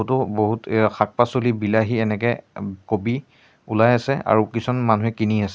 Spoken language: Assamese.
ফটো বহুত এইয়া শাক পাচলি বিলাহী এনেকে অম কবি ওলাই আছে আৰু কিছুমান মানুহে কিনি আছে।